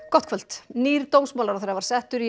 gott kvöld nýr dómsmálaráðherra var settur